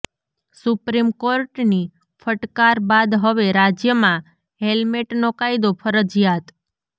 supreme કોર્ટની ફટકાર બાદ હવે રાજ્યમાં હેલ્મેટનો કાયદો ફરજીયાત